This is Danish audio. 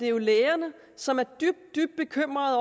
er lægerne som er dybt dybt bekymrede